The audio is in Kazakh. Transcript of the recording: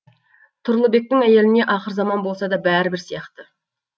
тұрлыбектің әйеліне ақырзаман болса да бәрібір сияқты